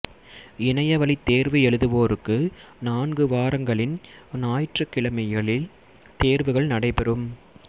இணைய வழித் தேர்வு எழுதுவோருக்கு நான்கு வாரங்களின் ஞாயிற்றுக் கிழமைகளில் தேர்வுகள் நடைபெறும்